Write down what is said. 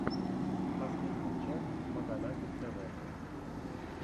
последняя часть маганатик тв